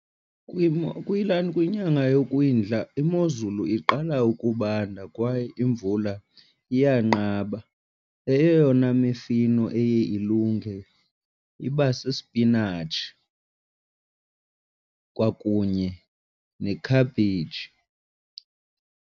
Kwinyanga yokwindla imozulu iqala ukubanda kwaye imvula iyanqaba. Eyona mifino eye ilunge iba sispinatshi kwakunye ne-cabbage.